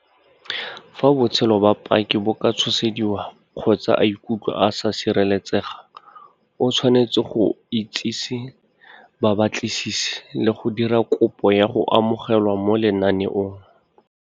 Fa botshelo ba paki bo ka tshosediwa kgotsa a ikutlwa a sa sireletsega, o tshwanetse go itsise babatlisisi le go dira kopo ya go amogelwa mo lenaneong.